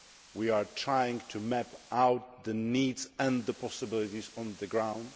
We are trying to map out the needs and the possibilities on the ground.